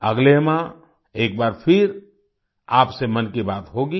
अगले माह एक बार फिर आपसे मन की बात होगी